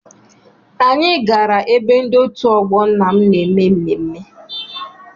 Anyị gara ebe ndị otu ọgbọ nna m na-eme mmemme.